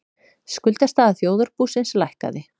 Skuldastaða þjóðarbúsins lækkaði